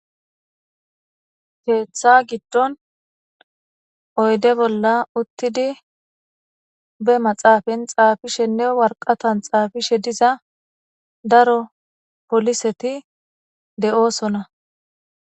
Keeththaa giddon oyde bolla uththidi be metsaafen tsaafishenne woraqathan tsaafishe diza daro polisethi de7oosona.